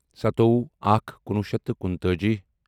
سَتووُہ اکھ کُنوُہ شیٚتھ تہٕ کُنتٲجی